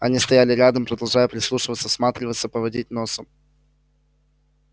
они стали рядом продолжая прислушиваться всматриваться поводить носом